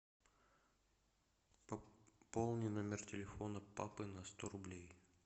пополни номер телефона папы на сто рублей